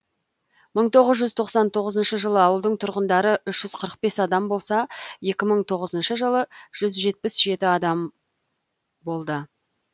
мың тоғыз жүз тоқсан тоғызыншы жылы ауылдың тұрғындары үш жүз қырық бес адам болса екі мың тоғызыншы жылы жүз жетпіс жеті адам болды